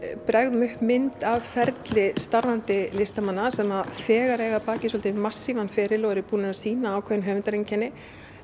bregðum upp mynd af ferli starfandi listamanna sem þegar eiga að baki svolítið massífan feril og eru búin að sýna ákveðin höfundareinkenni